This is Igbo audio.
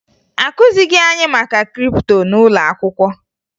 Akụzighi anyị maka kripto n'ụlọ akwụkwọ